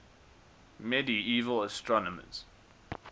medieval astronomers